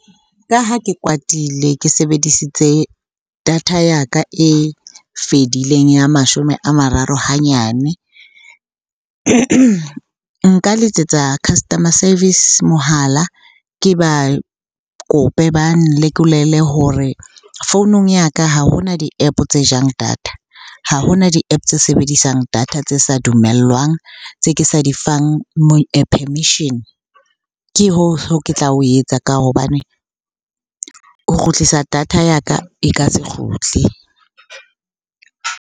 Ka ha ke kwatile ke sebedisitse data ya ka e fedileng ya mashome a mararo hanyane. Nka letsetsa customer service mohala, ke ba kope ba nlekolele hore founung ya ka ha hona di-App-o tse jang data, ha hona di-App-o tse sebedisang data tse sa dumellwang, tse ke sa di fang permission. Ke ke tla o etsa ka hobane ho kgutlisa data ya ka e ka se kgutle.